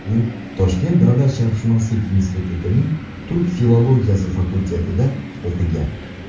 U Toshkent davlat sharqshunoslik institutining turk filologiyasi fakultetida o‘qigan.